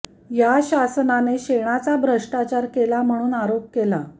या शासनाने शेणाचा भ्रष्टाचार केला म्हणून आरोप केला